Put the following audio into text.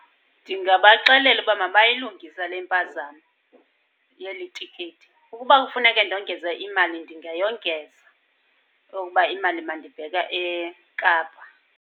Ndingabaxelela ukuba mabayilungise le mpazamo yeli tikiti. Ukuba kufuneke ndongeza imali ndingayongeza okuba imali mandibheke eKapa.